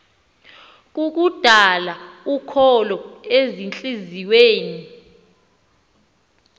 kukudala ukholo ezintliziyweni